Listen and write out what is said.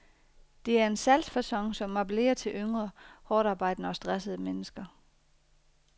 Det er en salgsfacon som appellerer til yngre, hårdtarbejdende og stressede mennesker.